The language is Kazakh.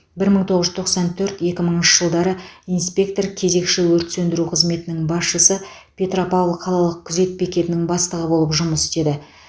бір мың тоғыз жүз тоқсан төрт екі мыңыншы жылдары инспектор кезекші өрт сөндіру қызметінің басшысы петропавл қалалық күзет бекетінің бастығы болып жұмыс істеді